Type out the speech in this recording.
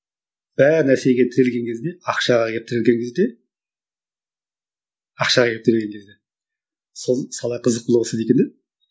бар нәрсеге тірелген кезде ақшаға келіп тірелген кезде ақшаға келіп тірелген кезде сол сала қызық бола бастайды екен иә